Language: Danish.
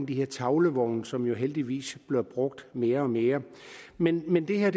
de her tavlevogne som jo heldigvis bliver brugt mere og mere men men det her